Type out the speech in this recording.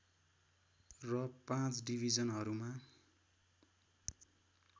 र पाँच डिविजनहरूमा